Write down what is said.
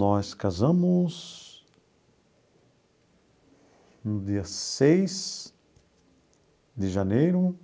Nós casamos no dia seis de janeiro